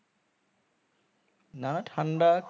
না না ঠান্ডা